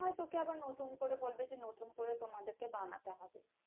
না হয় তোকে আবার নতুন করে বলবে যে নতুন করে তোমাদেরকে বানাতে হবে।